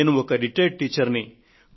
నేను ఒక విశ్రాంత ఉపాధ్యాయురాలిని